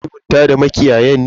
Manoman sun sulhunta da makiyayan ne?